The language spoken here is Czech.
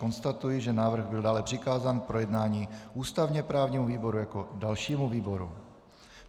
Konstatuji, že návrh byl dále přikázán k projednání ústavně právnímu výboru jako dalšímu výboru.